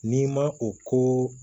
N'i ma o ko